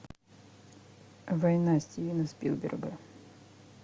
война стивена спилберга